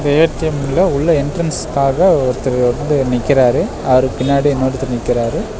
ஏ_டி_எம்ல உள்ள என்ட்ரன்ஸ்காக ஒருத்தர் வந்து நிக்கிறாரு அவருக்கு பின்னாடி இன்னொருத்தர் நிக்கிறாரு.